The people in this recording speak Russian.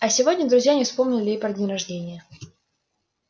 а сегодня друзья не вспомнили и про день рождения